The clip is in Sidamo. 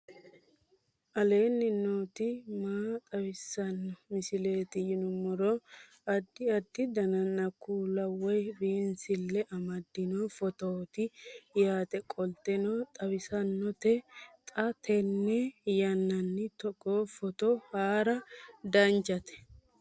aleenni nooti maa xawisanno misileeti yinummoro addi addi dananna kuula woy biinsille amaddino footooti yaate qoltenno baxissannote xa tenne yannanni togoo footo haara danchate